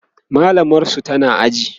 mallamar su tana aji